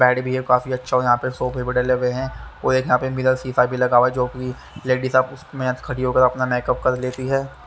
Bad भी हैं काफी आच्छा यहाँ पे सोफे भी डाले हुए हैं और एक यहाँ पे मिरर शीशा भी लगा हुआ हैं जो की लेडीज अपना उसमे खडी हो कर अपना मेकअप कर लेती हैं।